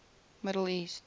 middle east